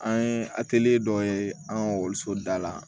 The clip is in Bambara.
An ye dɔ ye an ka ekɔliso da la